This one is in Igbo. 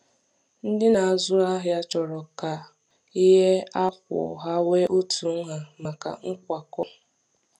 Ndị na-azụ ahịa chọrọ ka chọrọ ka ihe a kwụọ ha nwee otu nha maka nkwakọ.